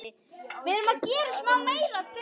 Áður en ég sæki son konunnar í skólann.